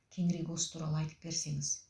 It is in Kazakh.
кеңірек осы туралы айтып берсеңіз